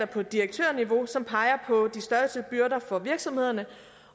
på direktørniveau som peger på de største byrder for virksomhederne